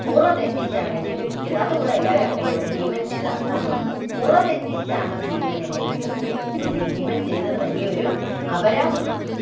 മുറ തെറ്റിച്ചാണ് എന്നെ വീഴ്ത്തിയത്. അതുകൂടെ എല്ലാവരും അറിയണം, ഭീമൻ ചെയ്ത അധര്‍മ്മം മുറതെറ്റിച്ചാണ് ഭീമൻ എന്നെ വീഴ്ത്തിയത് അല്ലെങ്കില്‍ ഭീമൻ ചെയ്തത് വലിയ ഒരു അപരാധമാണ്.